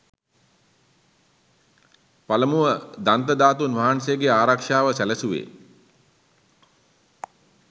පළමුව දන්ත ධාතූන් වහන්සේගේ ආරක්‍ෂාව සැලසුවේ